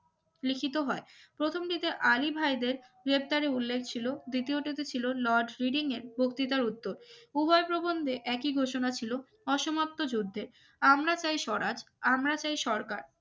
লিখিত হয় প্রথম দিকে আলী ভাইদের ইফতারের উল্লেখ ছিল দ্বিতীয় টাতে ছিল লর্ড হিডিং এর বক্তৃতার উত্তর উভয় প্রবন্ধে একই ঘোষণা ছিল অসমাপ্ত যুদ্ধের আমরা চাই স্বরাজ আমরা চাই সরকার